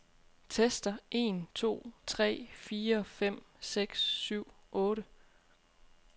Tester en to tre fire fem seks syv otte.